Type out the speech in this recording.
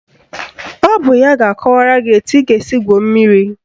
Ọ bụ ya ga-akọwara gị etu ị ga-esi gwuo mmiri